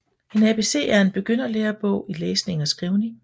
En ABC er en begynderlærebog i læsning og skrivning